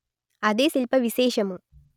అదే శిల్ప విశేషము